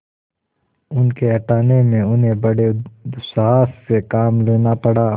उनके हटाने में उन्हें बड़े दुस्साहस से काम लेना पड़ा